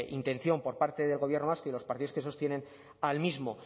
intención por parte del gobierno vasco y los partidos que sostienen al mismo